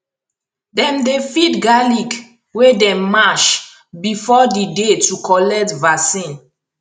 dem dey feed garlic wey dem mash before the day to collect vaccine